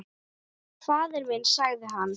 Faðir minn, sagði hann.